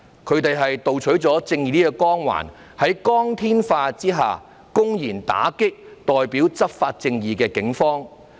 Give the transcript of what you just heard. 他們盜取了正義的光環，在光天化日下，公然打擊代表執法正義的警方。